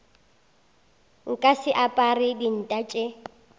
nka se apare dinta tša